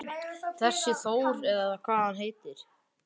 Þessi Þór eða hvað hann heitir.